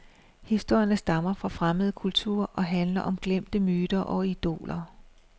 Historierne stammer fra fremmede kulturer og handler om glemte myter og idoler.